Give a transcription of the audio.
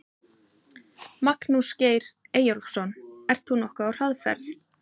Magnús Geir Eyjólfsson: Ert þú nokkuð á hraðferð?